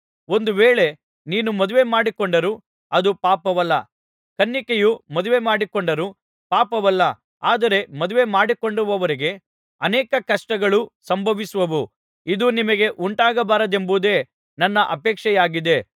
ಒಂದು ವೇಳೆ ನೀನು ಮದುವೆ ಮಾಡಿಕೊಂಡರೂ ಅದು ಪಾಪವಲ್ಲ ಕನ್ನಿಕೆಯು ಮದುವೆ ಮಾಡಿಕೊಂಡರೂ ಪಾಪವಲ್ಲ ಆದರೆ ಮದುವೆಮಾಡಿಕೊಂಡವರಿಗೆ ಅನೇಕ ಕಷ್ಟಗಳು ಸಂಭವಿಸುವವು ಇದು ನಿಮಗೆ ಉಂಟಾಗಬಾರದೆಂಬುದೇ ನನ್ನ ಅಪೇಕ್ಷೆಯಾಗಿದೆ